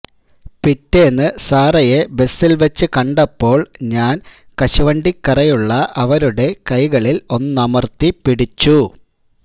പിറ്റേന്ന് സാറയെ ബസില് വച്ച് കണ്ടപ്പോള് ഞാന് കശുവണ്ടി കറയുള്ള അവരുടെ കൈകളില് ഒന്നമര്ത്തി പിടിച്ചു